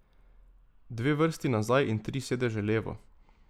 Dve vrsti nazaj in tri sedeže v levo.